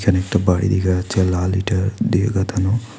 এখানে একটা বাড়ি দেখা যাচ্ছে লাল ইঁটা দিয়ে গাথানো।